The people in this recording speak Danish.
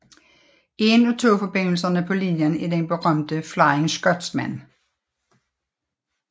En af togforbindelserne på linjen er den berømte Flying Scotsman